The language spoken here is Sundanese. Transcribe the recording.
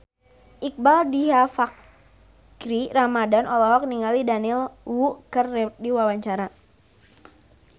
Iqbaal Dhiafakhri Ramadhan olohok ningali Daniel Wu keur diwawancara